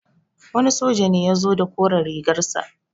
Wani soja ne ya zo da koren rigar sa.